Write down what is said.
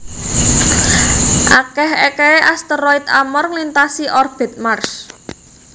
Akeh ekehe asteroid Amor nglintasi orbit Mars